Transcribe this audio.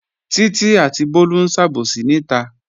Títí àti Bólú ń sàbòsí níta